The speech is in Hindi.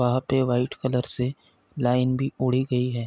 आपे वाइट कलर से लाइन भी ओढ़ी गयी है।